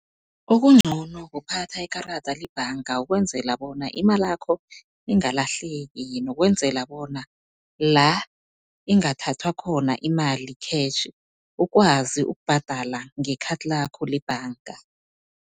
Okuncono kuphatha ikarada lebhanga, ukwenzela bona imalakho ingalahleki nokwenzela bona la ingathathwa khona imali khetjhi, ukwazi ukubhadala ngekhathi lakho lebhanga.